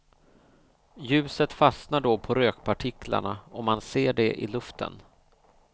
Ljuset fastnar då på rökpartiklarna och man ser det i luften.